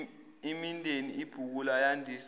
imindeni ibhukula yandisa